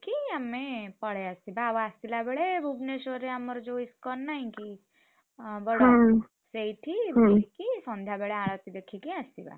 ଆମେ ପଳେଇଆସିବା ଆଉ ଆସିଲାବେଳେ ଭୁବନେଶ୍ୱରରେ ଆମର ଯୋଉ ISKCON ନାହିଁକି? ଅବଡ ସେଇଠି ବୁଲିକି ସନ୍ଧ୍ୟାବେଳେ ଆଳତି ଦେଖିକି ଆସିବ।